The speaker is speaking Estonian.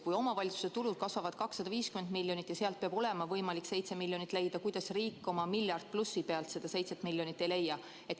Kui omavalitsuste tulud kasvavad 250 miljonit eurot ja nad peavad suutma sellest 7 miljonit leida, kuidas siis riik oma miljardi pealt seda 7 miljonit ei leia?